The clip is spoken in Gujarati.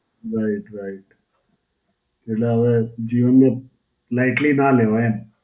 right right. એટલે હવે જીવનને lightly ના લેવાય એમ.